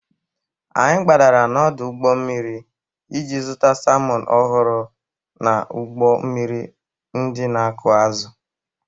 Anyị gbadara n'ọdụ ụgbọ mmiri iji zụta salmọn ọhụrụ n'ụgbọ mmiri ndị na-akụ azụ.